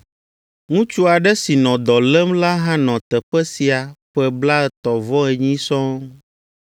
Ŋutsu aɖe si nɔ dɔ lém la hã nɔ teƒea sia ƒe blaetɔ̃-vɔ-enyi sɔŋ.